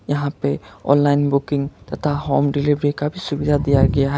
यहां पे online booking तथा होम डिलीवरी का सुविधा दिया गया है।